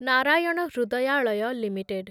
Narayan Hrudayalaya limited